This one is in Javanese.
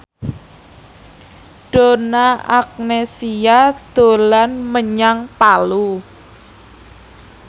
Donna Agnesia dolan menyang Palu